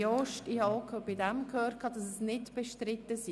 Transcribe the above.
Ich habe auch hier gehört, dass es nicht bestritten ist.